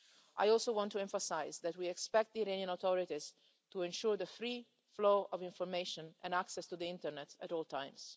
I also want to emphasise that we expect the Iranian authorities to ensure the free flow of information and access to the internet at all times.